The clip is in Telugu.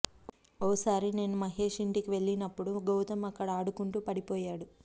ఓ సారి నేను మహేశ్ ఇంటికి వెళ్లినప్పుడు గౌతమ్ అక్కడ ఆడుకుంటూ పడిపోయాడు